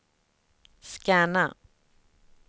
scanna